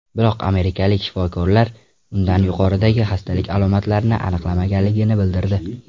Biroq amerikalik shifokorlar unda yuqoridagi xastalik alomatlarini aniqlamaganligini bildirdi.